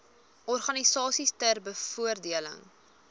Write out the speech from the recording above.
organisasies ter bevordering